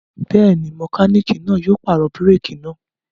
Bẹ́ẹ̀ ni, mẹkáníkì náà yóò pàrọ̀ búrékì náà.